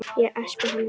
Ég espa hana líka.